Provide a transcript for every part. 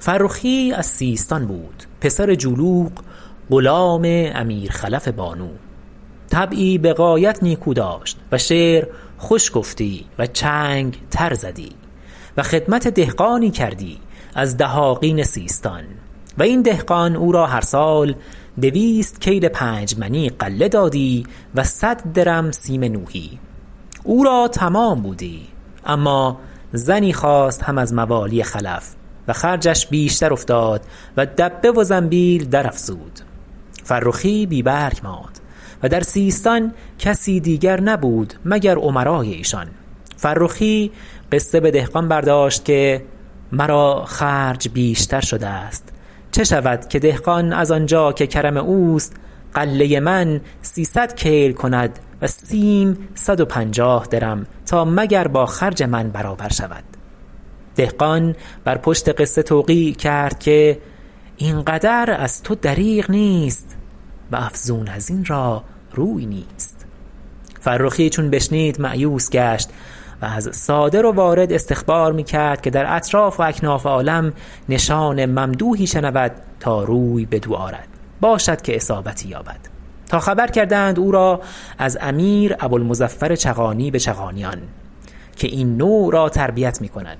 فرخی از سیستان بود پسر جولوغ غلام امیر خلف بانو طبعی بغایت نیکو داشت و شعر خوش گفتی و چنگ تر زدی و خدمت دهقانی کردی از دهاقین سیستان و این دهقان او را هر سال دویست کیل پنج منی غله دادی و صد درم سیم نوحی او را تمام بودی اما زنی خواست هم از موالی خلف و خرجش بیشتر افتاد و دبه و زنبیل درافزود فرخی بی برگ ماند و در سیستان کسی دیگر نبود مگر امراء ایشان فرخی قصه به دهقان برداشت که مرا خرج بیشتر شده است چه شود که دهقان از آنجا که کرم اوست غله من سیصد کیل کند و سیم صد و پنجاه درم تا مگر با خرج من برابر شود دهقان بر پشت قصه توقیع کرد که این قدر از تو دریغ نیست و افزون از این را روی نیست فرخی چون بشنید مأیوس گشت و از صادر و وارد استخبار میکرد که در اطراف و اکناف عالم نشان ممدوحی شنود تا روی بدو آرد باشد که اصابتی یابد تا خبر کردند او را از امیر ابوالمظفر چغانی بچغانیان که این نوع را تربیت میکند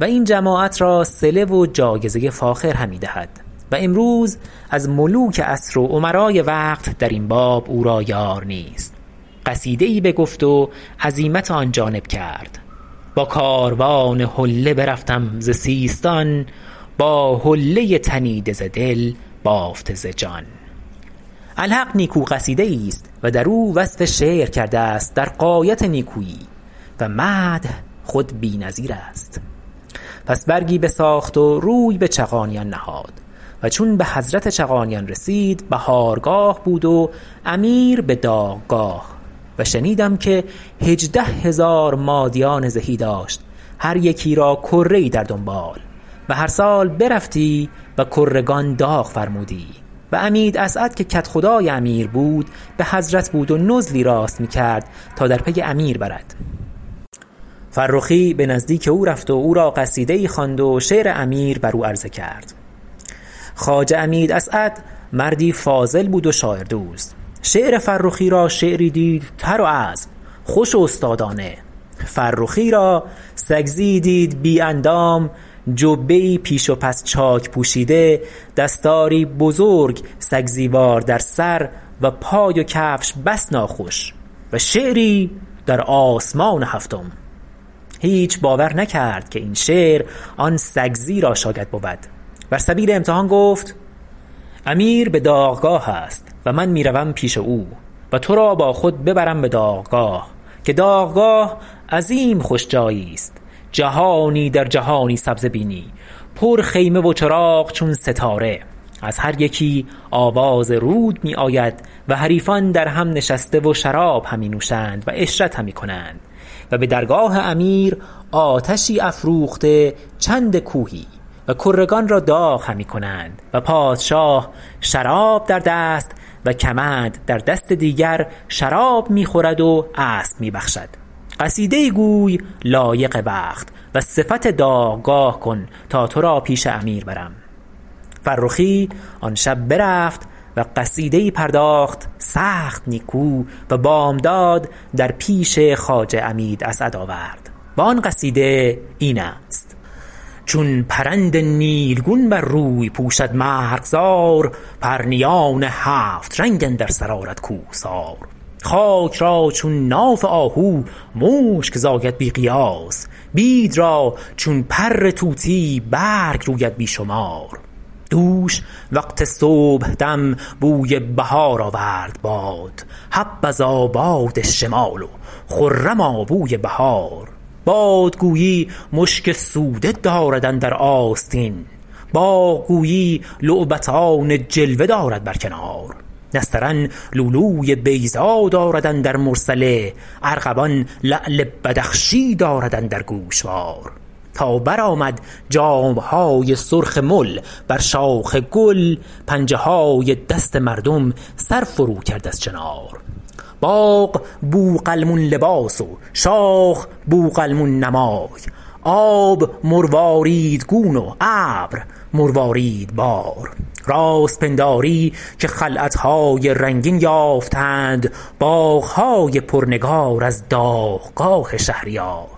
و این جماعت را صله و جایزه فاخر همی دهد و امروز از ملوک عصر و امراء وقت درین باب او را یار نیست قصیده ای بگفت و عزیمت آن جانب کرد با کاروان حله برفتم ز سیستان با حله تنیده ز دل بافته ز جان الحق نیکو قصیده ایست و در او وصف شعر کرده است در غایت نیکویی و مدح خود بی نظیر است پس برگی بساخت و روی به چغانیان نهاد و چون به حضرت چغانیان رسید بهارگاه بود و امیر به داغگاه و شنیدم که هجده هزار مادیان زهی داشت هر یکی را کره ای در دنبال و هر سال برفتی و کرگان داغ فرمودی و عمید اسعد که کدخدای امیر بود به حضرت بود و نزلی راست میکرد تا در پی امیر برد فرخی به نزدیک او رفت و او را قصیده ای خواند و شعر امیر بر او عرضه کرد خواجه عمید اسعد مردی فاضل بود و شاعر دوست شعر فرخی را شعری دید تر و عذب خوش و استادانه فرخی را سگزیی دید بی اندام جبه ای پیش و پس چاک پوشیده دستاری بزرگ سگزی وار در سر و پای و کفش بس ناخوش و شعری در آسمان هفتم هیچ باور نکرد که این شعر آن سگزی را شاید بود بر سبیل امتحان گفت امیر به داغگاه است و من می روم پیش او و تو را با خود ببرم به داغگاه که داغگاه عظیم خوش جایی است جهانی در جهانی سبزه بینی پر خیمه و چراغ چون ستاره از هر یکی آواز رود می آید و حریفان در هم نشسته و شراب همی نوشند و عشرت همی کنند و به درگاه امیر آتشی افروخته چند کوهی و کرگان را داغ همی کنند و پادشاه شراب در دست و کمند در دست دیگر شراب میخورد و اسب می بخشد قصیده ای گوی لایق وقت و صفت داغگاه کن تا تو را پیش امیر برم فرخی آن شب برفت و قصیده ای پرداخت سخت نیکو و بامداد در پیش خواجه عمید اسعد آورد و آن قصیده این است چون پرند نیلگون بر روی پوشد مرغزار پرنیان هفت رنگ اندر سر آرد کوهسار خاک را چون ناف آهو مشک زاید بی قیاس بید را چون پر طوطی برگ روید بی شمار دوش وقت صبحدم بوی بهار آورد باد حبذا باد شمال و خرما بوی بهار باد گویی مشک سوده دارد اندر آستین باغ گویی لعبتان جلوه دارد بر کنار نسترن لؤلوی بیضا دارد اندر مرسله ارغوان لعل بدخشی دارد اندر گوشوار تا برآمد جامهای سرخ مل بر شاخ گل پنجه های دست مردم سر فرو کرد از چنار باغ بوقلمون لباس و شاخ بوقلمون نمای آب مروارید گون و ابر مروارید بار راست پنداری که خلعتهای رنگین یافتند باغهای پر نگار از داغگاه شهریار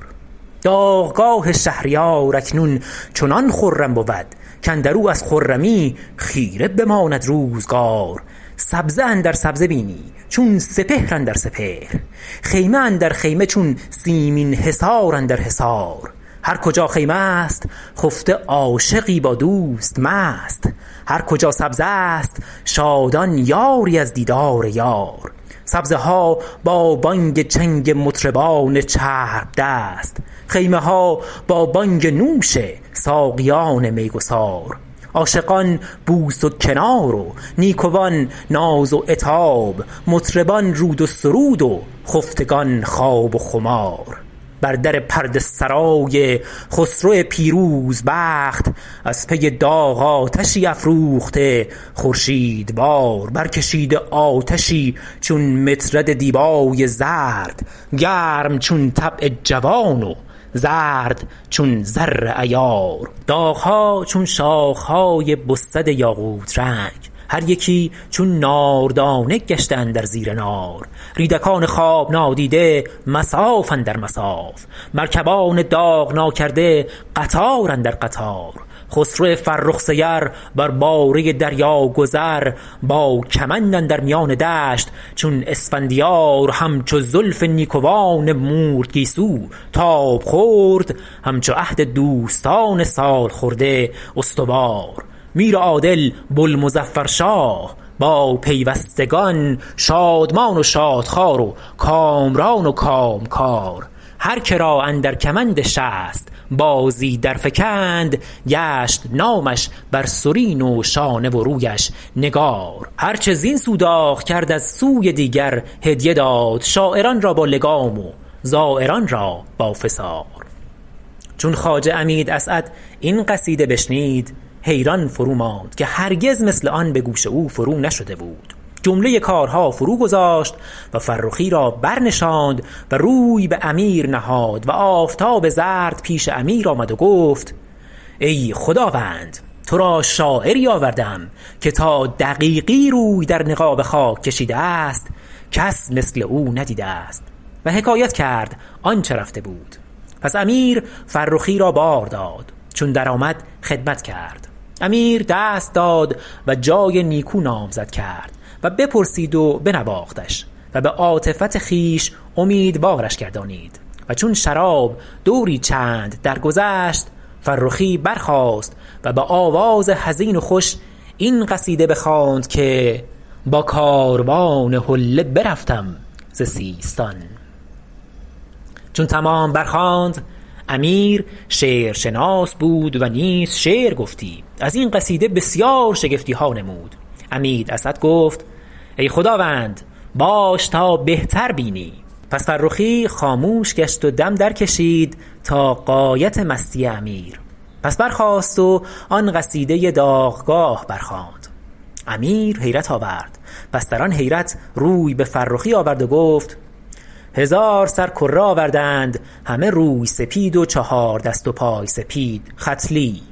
داغگاه شهریار اکنون چنان خرم بود کاندر او از خرمی خیره بماند روزگار سبزه اندر سبزه بینی چون سپهر اندر سپهر خیمه اندر خیمه چون سیمین حصار اندر حصار هر کجا خیمه است خفته عاشقی با دوست مست هر کجا سبزه است شادان یاری از دیدار یار سبزه ها با بانگ چنگ مطربان چرب دست خیمه ها با بانگ نوش ساقیان می گسار عاشقان بوس و کنار و نیکوان ناز و عتاب مطربان رود و سرود و خفتگان خواب و خمار بر در پرده سرای خسرو پیروز بخت از پی داغ آتشی افروخته خورشید وار بر کشیده آتشی چون مطرد دیبای زرد گرم چون طبع جوان و زرد چون زر عیار داغها چون شاخهای بسد یاقوت رنگ هر یکی چون نار دانه گشته اندر زیر نار ریدکان خواب نادیده مصاف اندر مصاف مرکبان داغ ناکرده قطار اندر قطار خسرو فرخ سیر بر باره دریا گذر با کمند اندر میان دشت چون اسفندیار همچو زلف نیکوان مورد گیسو تاب خورد همچو عهد دوستان سال خورده استوار میر عادل بوالمظفر شاه با پیوستگان شادمان و شاد خوار و کامران و کامکار هر که را اندر کمند شست بازی در فکند گشت نامش بر سرین و شانه و رویش نگار هر چه زین سو داغ کرد از سوی دیگر هدیه داد شاعران را با لگام و زایران را با فسار چون خواجه عمید اسعد این قصیده بشنید حیران فروماند که هرگز مثل آن به گوش او فرو نشده بود جمله کار ها فرو گذاشت و فرخی را برنشاند و روی به امیر نهاد و آفتاب زرد پیش امیر آمد و گفت ای خداوند تو را شاعری آورده ام که تا دقیقی روی در نقاب خاک کشیده است کس مثل او ندیده است و حکایت کرد آنچه رفته بود پس امیر فرخی را بار داد چون درآمد خدمت کرد امیر دست داد و جای نیکو نامزد کرد و بپرسید و بنواختش و به عاطفت خویش امیدوارش گردانید و چون شراب دوری چند درگذشت فرخی برخاست و به آواز حزین و خوش این قصیده بخواند که با کاروان حله برفتم ز سیستان چون تمام برخواند امیر شعر شناس بود و نیز شعر گفتی از این قصیده بسیار شگفتیها نمود عمید اسعد گفت ای خداوند باش تا بهتر بینی پس فرخی خاموش گشت و دم در کشید تا غایت مستی امیر پس برخاست و آن قصیده داغگاه برخواند امیر حیرت آورد پس در آن حیرت روی به فرخی آورد و گفت هزار سر کره آوردند همه روی سپید و چهار دست و پای سپید ختلی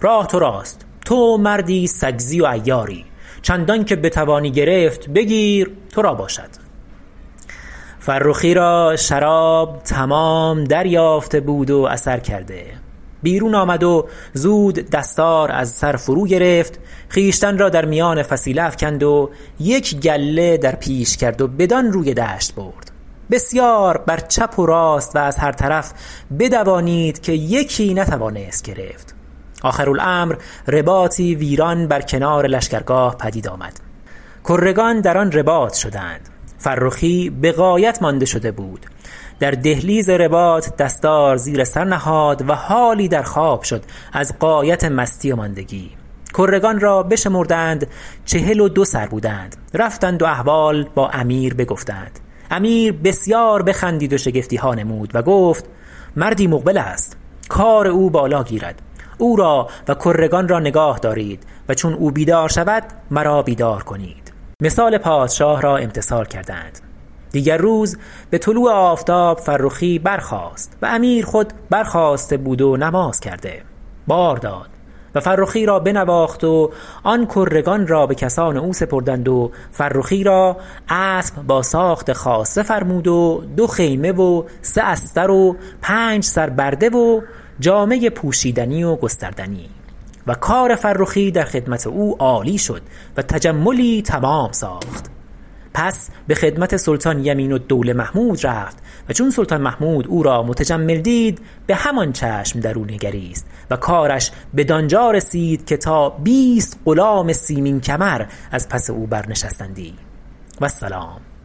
راه تراست تو مردی سگزی و عیاری چندانکه بتوانی گرفت بگیر تو را باشد فرخی را شراب تمام دریافته بود و اثر کرده بیرون آمد و زود دستار از سر فرو گرفت خویشتن را در میان فسیله افکند و یک گله در پیش کرد و بدان روی دشت برد و بسیار بر چپ و راست و از هر طرف بدوانید که یکی نتوانست گرفت آخر الامر رباطی ویران بر کنار لشکرگاه پدید آمد کرگان در آن رباط شدند فرخی بغایت مانده شده بود در دهلیز رباط دستار زیر سر نهاد و حالی در خواب شد از غایت مستی و ماندگی کرگان را بشمردند چهل و دو سر بودند رفتند و احوال با امیر بگفتند امیر بسیار بخندید و شگفتیها نمود و گفت مردی مقبل است کار او بالا گیرد او را و کرگان را نگاه دارید و چون او بیدار شود مرا بیدار کنید مثال پادشاه را امتثال کردند دیگر روز بطلوع آفتاب فرخی برخاست و امیر خود برخاسته بود و نماز کرده بار داد و فرخی را بنواخت و آن کرگان را بکسان او سپردند و فرخی را اسب با ساخت خاصه فرمود و دو خیمه و سه استر و پنج سر برده و جامه پوشیدنی و گستردنی و کار فرخی در خدمت او عالی شد و تجملی تمام ساخت پس به خدمت سلطان یمین الدوله محمود رفت و چون سلطان محمود او را متجمل دید به همان چشم در او نگریست و کارش بدانجا رسید که تا بیست غلام سیمین کمر از پس او برنشستندی و السلام